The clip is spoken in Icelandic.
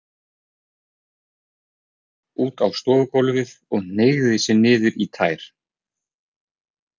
Stökk út á stofugólfið og hneigði sig niður í tær.